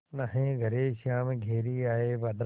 नाहीं घरे श्याम घेरि आये बदरा